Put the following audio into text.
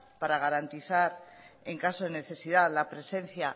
para garantizar en caso de necesidad la presencia